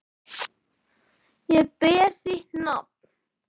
Ég ber þitt nafn.